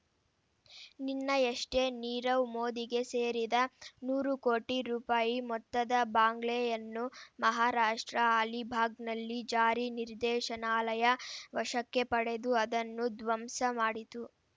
ನಿನ್ನಯಷ್ಟೇ ನೀರವ್ ಮೋದಿಗೆ ಸೇರಿದ ನೂರು ಕೋಟಿ ರೂಪಾಯಿ ಮೊತ್ತದ ಬಂಗ್ಲೆಯನ್ನು ಮಹಾರಾಷ್ಟ್ರ ಆಲಿಭಾಗ್‌ನಲ್ಲಿ ಜಾರಿ ನಿರ್ದೇಶನಾಲಯ ವಶಕ್ಕೆ ಪಡೆದು ಅದನ್ನು ಧ್ವಂಸ ಮಾಡಿತು